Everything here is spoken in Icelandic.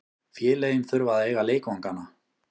Félögin þurfa að eiga leikvangana.